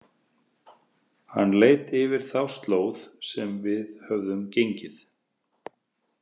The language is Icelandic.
Hann leit yfir þá slóð sem við höfðum gengið.